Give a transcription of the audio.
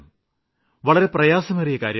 വളരെ പ്രയാസമേറിയ കാര്യമാണിത്